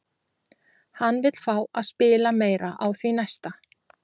Hann vill fá að spila meira á því næsta!